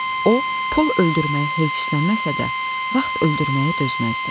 O, pul öldürməyə heyfsilənməsə də, vaxt öldürməyə dözməzdi.